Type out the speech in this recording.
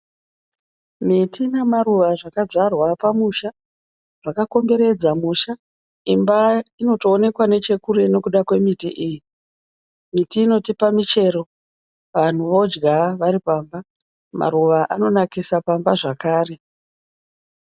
Miti namaruva zvakadzvarwa pamusha. Zvakakomberedza musha. Imba inotoonekwa nechekure nekuda kwemiti iyi . Miti inotipa michero vanhu vodya vari pamba. Maruva anonakisa pamba zvakare.